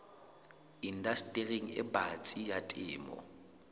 indastering e batsi ya temo